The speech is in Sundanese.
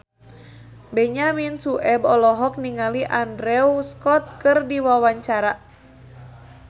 Benyamin Sueb olohok ningali Andrew Scott keur diwawancara